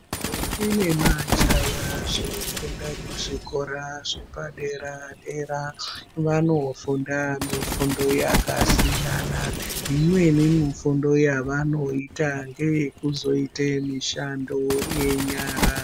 Ndombi nemajaya zvinofunda kuzvikora zvepadera dera, vanofunda mifundo yakasiyana. Imweni mifundo yevanoita ngekuzoita mushando yenyara.